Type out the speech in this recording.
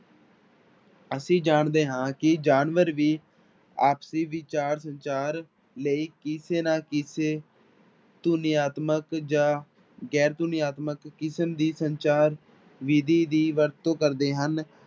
ਅਸੀਂ ਜਾਣਦੇ ਹਾਂ ਕਿ ਜਾਨਵਰ ਵੀ ਆਪਸੀ ਵਿਚਾਰ ਸੰਚਾਰ ਲਈ ਕਿਸੇ ਨਾ ਕਿਸੇ ਧੁਨੀਆਤਮਕ ਜਾਂ ਗੈਰ ਧੁਨੀਆਤਮਕ ਕਿਸਮ ਦੀ ਸੰਚਾਰ ਵਿੱਧੀ ਦੀ ਵਰਤੋਂ ਕਰਦੇ ਹਨ।